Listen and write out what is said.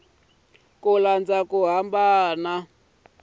ku landza ku hambana loku